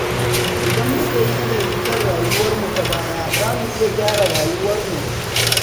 Idan muka yi nazari kan rayuwarmu ta baya, za mu iya gyara rayuwarmu.